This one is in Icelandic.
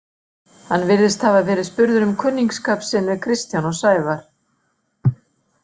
Hann virðist hafa verið spurður um kunningsskap sinn við Kristján og Sævar.